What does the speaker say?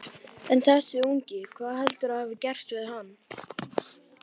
En þessi ungi, hvað heldurðu að hafi gerst fyrir hann?